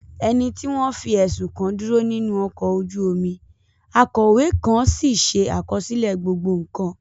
Ẹni tí wọ́n fi ẹ̀sùn kàn dúró nínú ọkọ̀ ojú omi, akọ̀wé kan sì ṣe àkọsílẹ̀ gbogbo nkan.